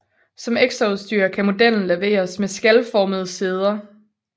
Som ekstraudstyr kan modellen leveres med skalformede sæder